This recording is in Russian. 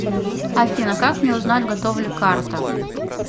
афина как мне узнать готова ли карта